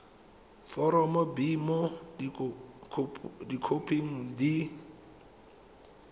foromo b mo dikhoping di